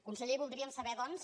conseller voldríem saber doncs